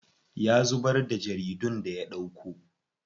Ya zubar da jaridun da ya ɗauko.